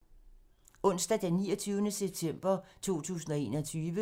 Onsdag d. 29. september 2021